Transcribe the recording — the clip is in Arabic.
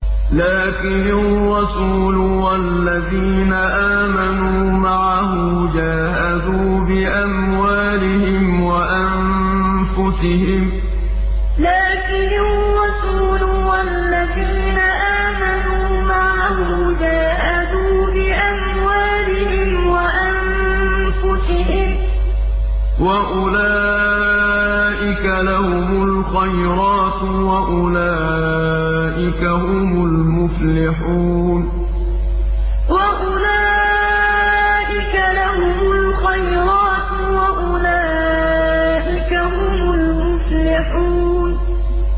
لَٰكِنِ الرَّسُولُ وَالَّذِينَ آمَنُوا مَعَهُ جَاهَدُوا بِأَمْوَالِهِمْ وَأَنفُسِهِمْ ۚ وَأُولَٰئِكَ لَهُمُ الْخَيْرَاتُ ۖ وَأُولَٰئِكَ هُمُ الْمُفْلِحُونَ لَٰكِنِ الرَّسُولُ وَالَّذِينَ آمَنُوا مَعَهُ جَاهَدُوا بِأَمْوَالِهِمْ وَأَنفُسِهِمْ ۚ وَأُولَٰئِكَ لَهُمُ الْخَيْرَاتُ ۖ وَأُولَٰئِكَ هُمُ الْمُفْلِحُونَ